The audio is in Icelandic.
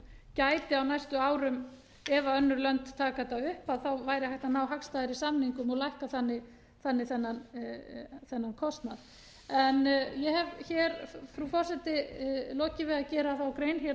gæti á næstu árum ef önnur lönd taka þetta upp þá væri hægt að ná hagstæðari samningum og lækka þannig þennan kostnað ég hef hér frú forseti lokið við að gera þá grein